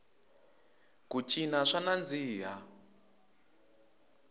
ku cina swa nandziha